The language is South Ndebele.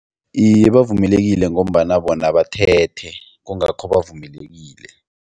Iye, bavumelekile ngombana bona bathethe kungakho bavumelekile.